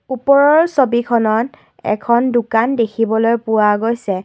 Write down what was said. ওপৰৰ ছবিখনত এখন দোকান দেখিবলৈ পোৱা গৈছে।